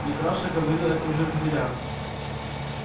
митраша говорил это уже в дверях